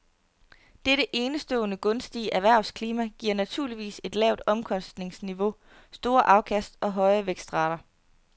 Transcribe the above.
Dette enestående gunstige erhvervsklima giver naturligvis et lavt omkostningsniveau, store afkast og høje vækstrater.